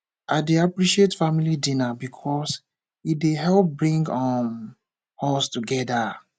i dey appreciate family dinner because e dey help bring um us closer together